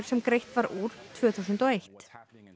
sem greitt var úr tvö þúsund og eitt